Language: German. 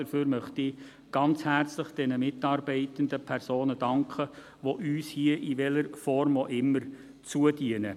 Dafür möchte ich den Mitarbeitenden ganz herzlich danken, die uns hier, in welcher Form auch immer, zudienen.